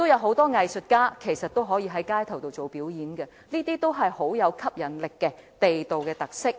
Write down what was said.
很多藝術家都可以進行街頭表演，這些都是極具吸引力的地道特色。